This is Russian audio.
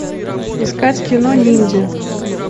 искать кино ниндзя